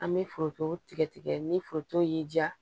An bɛ foronto tigɛ tigɛ ni foronto y'i diya